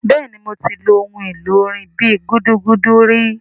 Bẹ́ẹ̀ni mo ti lu ohun èlò orin bíi gúdúgúdú ri